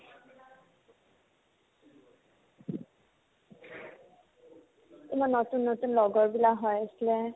ইমান নতুন নতুন লগৰবিলাক হৈ আছিলে